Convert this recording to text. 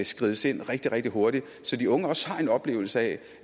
skrides ind rigtig rigtig hurtigt så de unge også har en oplevelse af